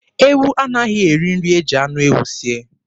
Ewu anaghị eri nri e ji anụ ewu sie.